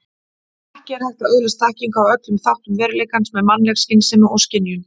Ekki er hægt að öðlast þekkingu á öllum þáttum veruleikans með mannleg skynsemi og skynjun.